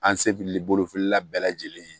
An sefiriboli feerela bɛɛ lajɛlen ye